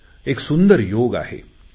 हा एक सुंदर योग आहे